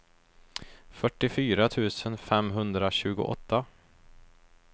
fyrtiofyra tusen femhundratjugoåtta